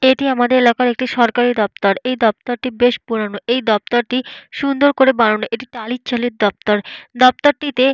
এটি আমাদের এলাকার একটি সরকারি দপ্তর। এই দপ্তরটি বেশ পুরানো। এই দপ্তরটি সুন্দর করে বানানো। এটি টালির চালের দপ্তর। দপ্তরটিতে --